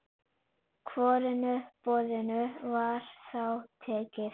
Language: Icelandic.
Hvorugu boðinu var þá tekið.